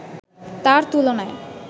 তার তুলনায়